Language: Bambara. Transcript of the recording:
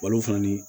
Walifini